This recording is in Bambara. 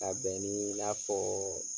Ka bɛn nii i n'a fɔɔ